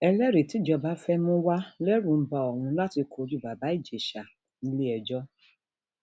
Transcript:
ẹlẹrìí tíjọba fẹẹ mú wa lẹrù ń ba òun láti kojú bàbá ìjèṣà nílẹẹjọ